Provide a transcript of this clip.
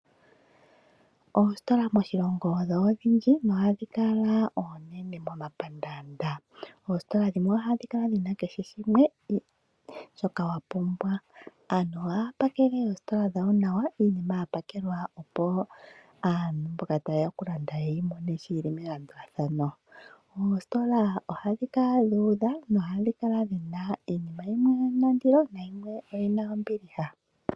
Oositola moshilongo odho odhindji nohadhi kala oonene momapandaanda. Oositola dhimwe ohadhi kala dhina kehe shimwe shoka wapumbwa aantu ohaya pakele oositola dhawo nawa. Iinima yapakelwa opo aantu mboka tayeya oku landa yeyi mone sho yili nelandulathano. Oositola ohadhi kala dhu udha iinima yimwe oyina ondilo nayimwe oyina ombiliha